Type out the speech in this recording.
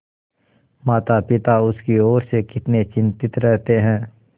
मातापिता उसकी ओर से कितने चिंतित रहते हैं